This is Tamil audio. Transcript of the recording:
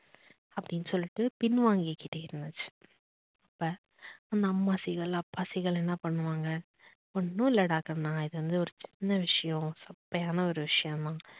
அப்படின்னு சொல்லிட்டு பின் வாங்கிகிட்டே இருந்துச்சு. இப்ப அந்த அம்மா seegal, அப்பா seegal என்ன பண்ணுவாங்க? ஒன்னும் இல்லடா கண்ணா இது வந்து ஒரு சின்ன விஷயம் சப்பையான ஒரு விஷயம் தான்